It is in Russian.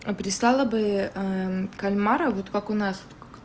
прислала бы кальмаров вот как у нас